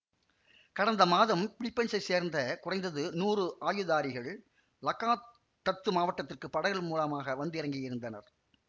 கடந்த மாதம் பிலிப்பீன்சைச் சேர்ந்த குறைந்தது நூறு ஆயுதாரிகள் லகாத் டத்து மாவட்டத்திற்குப் படகுகள் மூலமாக வந்திறங்கியிருந்தனர்